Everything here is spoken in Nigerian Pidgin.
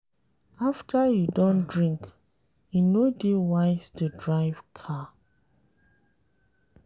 After you don drink e no dey wise to drive car